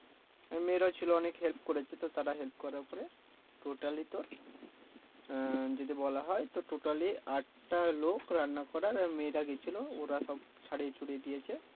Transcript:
আর মেয়েরাও ছিলো অনেক help করেছে তো তারা help করার পরে totally তো র আহ যদি বলা হয় তো totally আট টা লোক রান্না করার আর মেয়েরা গেছিলো ওরা সব ছাড়িয়ে ছুড়িয়ে দিয়েছে